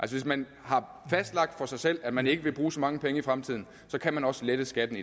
hvis man har fastlagt for sig selv at man ikke vil bruge så mange penge i fremtiden kan man også lette skatten